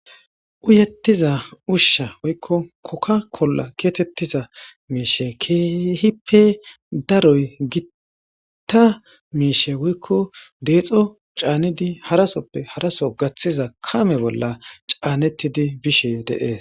uyettiza ushsha woykko kokka kolla geetettiza miishe keehippe daroy gitta miishe woykko deexo caanidi harasoppe haraso gaththiza kame bolla caanettidi bishe deees